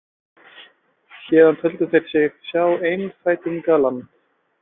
Héðan töldu þeir sig sjá einfætingaland.